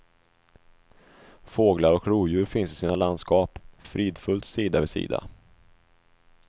Fåglar och rovdjur finns i sina landskap, fridfullt sida vid sida.